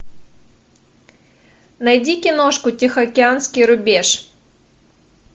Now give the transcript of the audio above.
найди киношку тихоокеанский рубеж